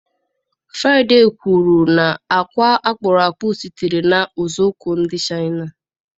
Fraịde kwuru na àkwá-akpụrụakpụ sitere na usekwu ndị Chaịna.